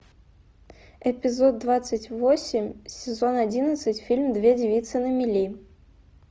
эпизод двадцать восемь сезон одиннадцать фильм две девицы на мели